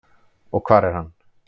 Og hvar er hann?